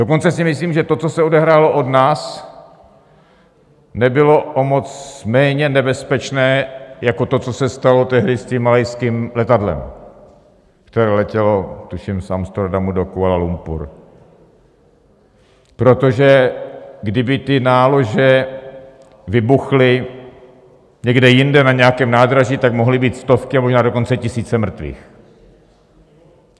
Dokonce si myslím, že to, co se odehrálo od nás, nebylo o moc méně nebezpečné jako to, co se stalo tehdy s tím malajským letadlem, které letělo tuším z Amsterodamu do Kuala Lumpur, protože kdyby ty nálože vybuchly někde jinde na nějakém nádraží, tak mohly být stovky, a možná dokonce tisíce mrtvých.